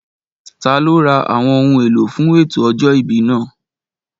Taló ra àwọn ohun èlò fún ètò ọjọ́ ìbí náà?